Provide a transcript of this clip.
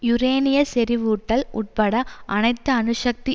யுரேனிய செறிவூட்டல் உட்பட அனைத்து அணுசக்தி